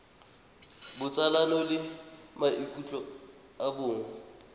botsalano le maikutlo a bong